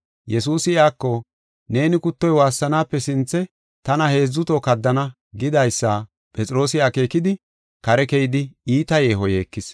Yesuusi iyako, “Neeni kuttoy waassanaape sinthe tana heedzu toho kaddana” gidaysa Phexroosi akeekidi, kare keyidi iita yeeho yeekis.